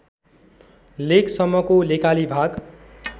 लेकसम्मको लेकाली भाग